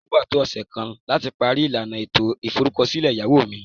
O gba to ose kan lati pari ilana eto iforukosile eyawo mi